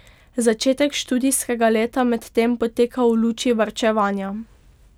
Začetek študijskega leta medtem poteka v luči varčevanja.